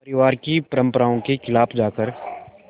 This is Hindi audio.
परिवार की परंपरा के ख़िलाफ़ जाकर